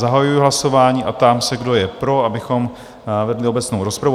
Zahajuji hlasování a ptám se, kdo je pro, abychom vedli obecnou rozpravu?